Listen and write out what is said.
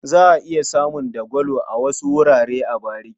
Za a iya samun dagwalo a wasu wurare a bariki.